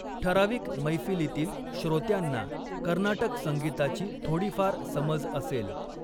ठराविक मैफिलीतील श्रोत्यांना कर्नाटक संगीताची थोडीफार समज असेल.